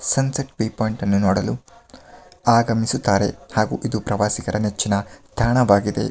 Sunset view point ಅನ್ನು ನೋಡಲು ಆಗಮಿಸಿದ್ದಾರೆ ಹಾಗೂ ಇದು ಪ್ರವಾಸಿಗರ ಮೆಚ್ಚಿನ ತಾಣವಾಗಿದೆ .